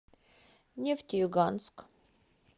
нефтеюганск